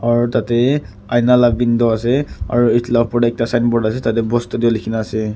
aru tade aina la window ase aru etu la opor de ekta signboard ase tade bose studio likhi na ase.